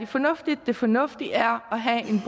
fornuftigt det fornuftige er at have en